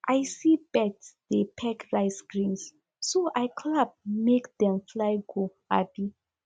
i see birds dey peck rice grains so i clap make dem fly go um